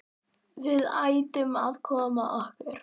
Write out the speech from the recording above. Við ættum að koma okkur.